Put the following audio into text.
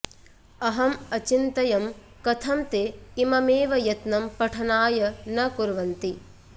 अहं अचिन्तयं कथं ते इममेव यत्नम् पठनाय न कुर्वन्ति